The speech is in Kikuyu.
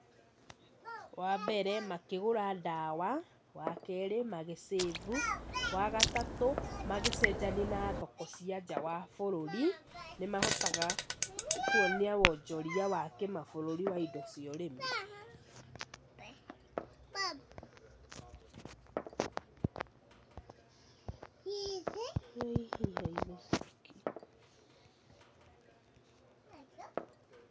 Wa mbere makĩgũra ndawa, wa kerĩ magĩ save , wagatatũ magĩcenjania na thoko cia nja wa bũrũri nĩ mahotaga kwonia wonjoria wa kĩmabũrũri wa indo cia ũrĩmi.